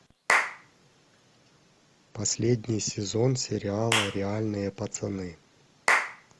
последний сезон сериала реальные пацаны